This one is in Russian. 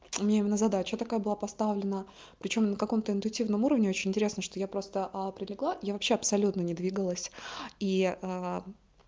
мне именно задача такая была поставлена причём на каком-то интуитивном уровне очень интересно что я просто а прилегла я вообще абсолютно не двигалась и а